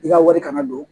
I ka wari kana don